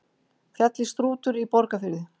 Fjallið Strútur í Borgarfirði.